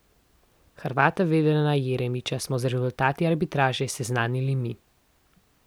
Hrvata Vedrana Jeremića smo z rezultati arbitraže seznanili mi.